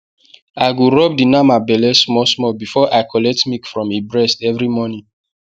i go rub the nama belle small small before i collect milk from e breast every morning